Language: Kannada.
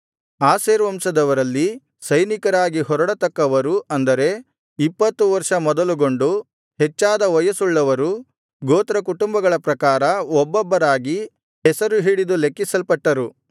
ಆಶೇರ್ ವಂಶದವರಲ್ಲಿ ಸೈನಿಕರಾಗಿ ಹೊರಡತಕ್ಕವರು ಅಂದರೆ ಇಪ್ಪತ್ತು ವರ್ಷ ಮೊದಲುಗೊಂಡು ಹೆಚ್ಚಾದ ವಯಸ್ಸುಳ್ಳವರು ಗೋತ್ರಕುಟುಂಬಗಳ ಪ್ರಕಾರ ಒಬ್ಬೊಬ್ಬರಾಗಿ ಹೆಸರು ಹಿಡಿದು ಲೆಕ್ಕಿಸಲ್ಪಟ್ಟರು